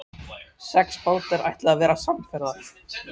Sex bátar ætluðu að verða samferða.